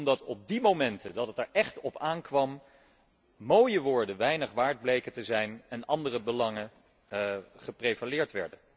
Omdat op die momenten dat het er echt op aankwam, mooie woorden weinig waard bleken te zijn en andere belangen prevaleerden.